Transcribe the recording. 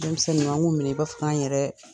Denmisɛn ninnu, an' ŋ'u minɛ i b'a fɔ k'an yɛrɛ